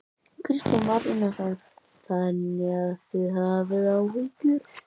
Kristján Már Unnarsson: Þannig að þið hafið áhyggjur?